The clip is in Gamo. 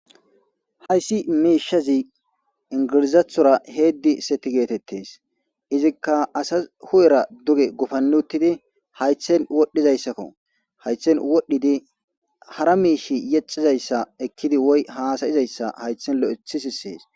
Hayssi miishshazi ingirizathora heeddi seti geetettes izikka asa hu'era duge gufani uttidi haythrhen wodhdhizayssakko haythen wodhdhidi hara miishshi yexizayssa ekkidi woy haasayizayssa haythen lo'eththi sisees